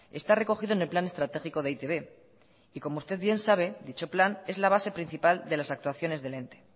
está recogido en el plan estratégico de e i te be y como usted bien sabe dicho plan es la base principal de las actuaciones den ente